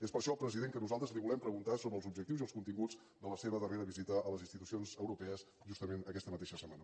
és per això president que nosaltres li volem preguntar sobre els objectius i els continguts de la seva darrera visita a les institucions europees justament aquesta mateixa setmana